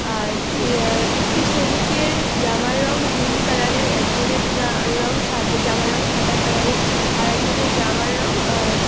আর তি আহ একটি শ্রমিকএর জামার রং নীলকালার -এর একজনের নাহ রং সাদ জামার রং সাদা কালার -এর আরএকজনের জামার রং আহ--